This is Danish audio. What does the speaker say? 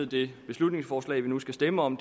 det beslutningsforslag vi nu skal stemme om